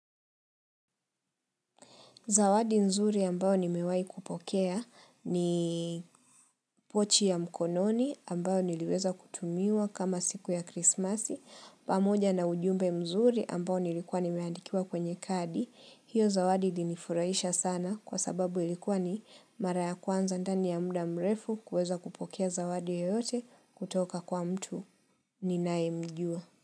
Zawadi nzuri ambayo nimewai kupokea ni pochi ya mkononi ambao niliweza kutumiwa kama siku ya krismasi. Pamoja na ujumbe mzuri ambao nilikuwa nimeandikiwa kwenye kadi. Hiyo zawadi ilinifurahisha sana kwa sababu ilikuwa ni mara ya kwanza ndani ya muda mrefu kuweza kupokea zawadi yeyote kutoka kwa mtu ninayue mjua.